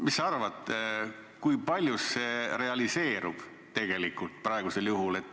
Mis sa arvad, kui paljus see tegelikult realiseerub.